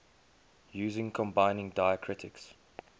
using combining diacritics